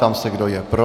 Ptám se, kdo je pro.